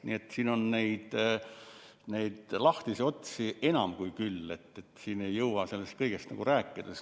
Nii et siin on neid lahtisi otsi enam kui küll, siin ei jõua kõigest rääkida.